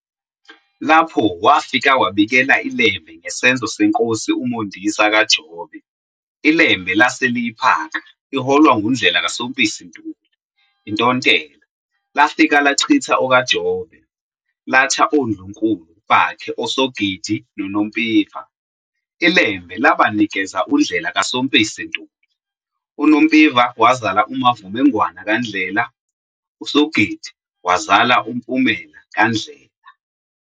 Lapho wafika wabikela iLembe ngesenzo seNkosi uMondisa kaJobe, iLembe lase liyiphaka, iholwa nguNdlela kaSompisi Ntuli, iNtontela, lafika lachitha okaJobe, latha oNdlunkulu bakhe oSogidi noNompiva, iLembe labanikeza uNdlela kaSompisi Ntuli, uNompiva wazala uMavumengwana kaNdlela, uSogidi wazala uMpumela kaNdlela.